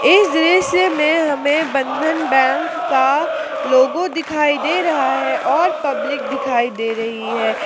इस दृश्य में हमें बंधन बैंक का लोगो दिखाई दे रहा है। और पब्लिक दिखाई दे रही है।